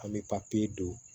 An bɛ papiye don